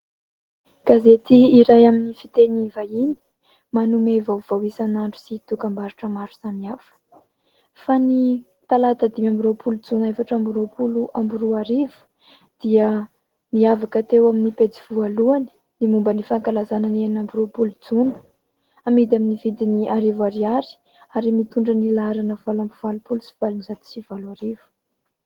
Gazety iray amin'ny fiteny vahiny manome vaovao isan'andro sy dokam-barotra maro samihafa. Fa ny talata dimy amby roapolo jona efatra amby roapolo amby roa arivo dia niavaka teo amin'ny pejy voalohany ny momba ny fankalazana ny enina amby roapolo jona. Amidy amin'ny vidiny arivo ariary ary mitondra ny laharana valo amby valopolo sy valonjato sy valo arivo.